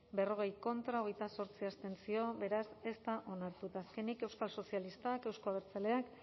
berrogei contra hogeita zortzi abstentzio beraz ez da onartu eta azkenik euskal sozialistak euzko abertzaleak